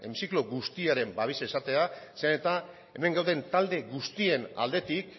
hemiziklo guztiaren babesa izatea zeren eta hemen gauden talde guztien aldetik